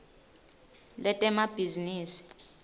letemabhizinisi